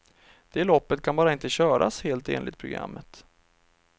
Det loppet kan bara inte köras helt enligt programmet.